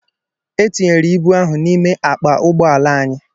E tinyere ibu ahu n'ime akpa ụgbọ ala anyị